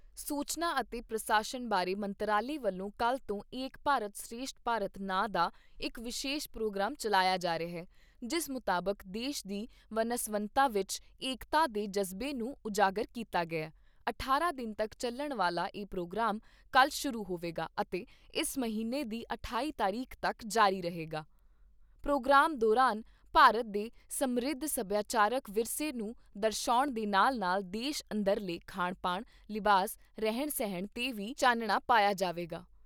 ਸੂਚਨਾ ਅਤੇ ਪ੍ਰਸਾਰਣ ਬਾਰੇ ਮੰਤਰਾਲੇ ਵਲੋਂ ਕੱਲ੍ਹ ਤੋਂ 'ਏਕ ਭਾਰਤ ਸ਼੍ਰੇਸ਼ਠ ਭਾਰਤ' ਨਾਂ ਦਾ ਇਕ ਵਿਸ਼ੇਸ਼ ਪ੍ਰੋਗਰਾਮ ਚੱਲਾਇਆ ਜਾ ਰਿਹਾ, ਜਿਸ ਮੁਤਾਬਕ ਦੇਸ਼ ਦੀ ਵਨ ਸਵੰਨਤਾ ਵਿਚ ਏਕਤਾ ਦੇ ਜਜਬੇ ਨੂੰ ਉਜਾਗਰ ਕੀਤਾ ਗਿਆ। ਅਠਾਰਾਂ ਦਿਨ ਤਕ ਚੱਲਣ ਵਾਲਾ ਇਹ ਪ੍ਰੋਗਰਾਮ ਕੱਲ੍ਹ ਸ਼ੁਰੂ ਹੋਵੇਗਾ ਅਤੇ ਇਸ ਮਹੀਨੇ ਦੀ ਅਠਾਈ ਤਾਰੀਖ ਤੱਕ ਜਾਰੀ ਰਹੇਗਾ। ਪ੍ਰੋਗਰਾਮ ਦੌਰਾਨ ਭਾਰਤ ਦੇ ਸਮ੍ਰਿਧ ਸੱਭਿਆਚਾਰਕ ਵਿਰਸੇ ਨੂੰ ਦਰਸ਼ਾਉਣ ਦੇ ਨਾਲ ਨਾਲ ਦੇਸ਼ ਅੰਦਰਲੇ ਖਾਣ ਪਾਣ, ਲਿਬਾਸ, ਰਹਿਣ ਸਹਿਣ ਤੇ ਵੀ ਚਾਨਣਾ ਪਾਇਆ ਜਾਵੇਗਾ।